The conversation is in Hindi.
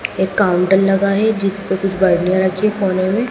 एक काउंटर लगा है जिसमें कुछ बरनिया रखी है कोने में।